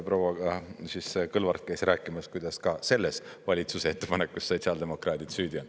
Proua Kõlvart käis rääkimas, kuidas ka selles valitsuse ettepanekus sotsiaaldemokraadid süüdi on.